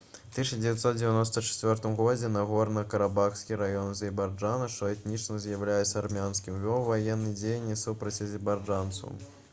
у 1994 г нагорна-карабахскі раён азербайджана што этнічна з'яўляецца армянскім вёў ваенныя дзеянні супраць азербайджанцаў